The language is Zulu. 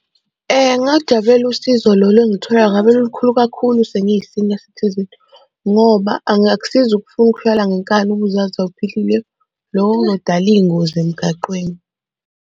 Ngingalujabulela usizo lolo engilutholayo ngabe lulukhulu kakhulu sengiyi-senior citizen ngoba angakusizi ukufuna ukuhlala ngenkani ube uzazi ukuthi awuphilile. Loko kuzodala iy'ngozi emgaqweni.